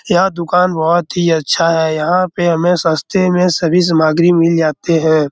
यह दुकान बहुत ही अच्छा है। यहाँ पे हमे सस्ते में सभी सामग्री मिल जाते हैं।